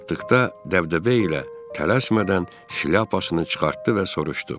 Gəlib çatdıqda dəbdəbə ilə tələsmədən şlyapasını çıxartdı və soruşdu: